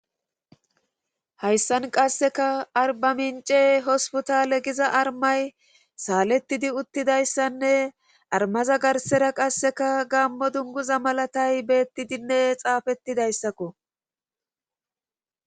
Hayssan qasseka arba mince hospotale giza armay saalettidi uttidayssanne armaza garsera qasseka gammo dunguza malatay beettidinne xaafettidayssakko.